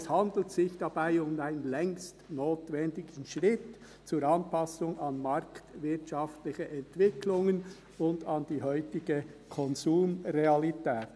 Es handelt sich dabei um einen längst notwendigen Schritt zur Anpassung an marktwirtschaftliche Entwicklungen und an die heutige Konsumrealität.